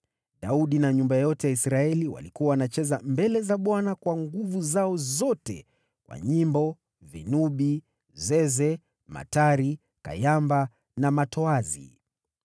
Daudi na nyumba yote ya Israeli walikuwa wanacheza mbele za Bwana kwa nguvu zao zote, kwa nyimbo, vinubi, zeze, matari, kayamba na matoazi.